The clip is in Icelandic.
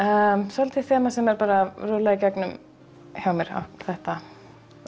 svolítið þemað sem er að rúlla gegnum hjá mér þetta